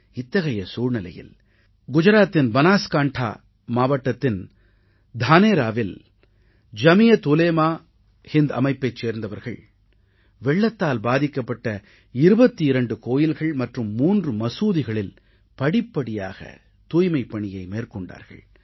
இத்தகைய சூழ்நிலையில் குஜராத்தின் பனாஸ்காண்டா மாவட்டத்தின் தானேராவில் ஜமீயத் உலேமா ஏ ஹிந்த் அமைப்பைச் சேர்ந்தவர்கள் வெள்ளத்தால் பாதிக்கப்பட்ட 22 கோயில்கள் மற்றும் 3 மசூதிகளில் படிப்படியாக தூய்மைப்பணியை மேற்கொண்டார்கள்